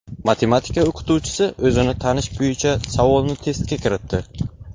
Matematika o‘qituvchisi o‘zini tanish bo‘yicha savolni testga kiritdi.